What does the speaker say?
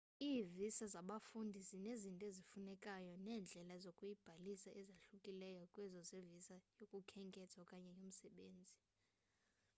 ii-visa zabafundi zinezinto ezifunekayo neendlela zokuyibhalisela ezahlukileyo kwezo zevisa yokukhenketha okanye yomsebenzi